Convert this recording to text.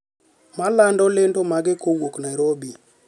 ma lando lendo mage kowuok Nairobi,